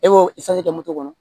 E b'o kɛ moto kɔnɔ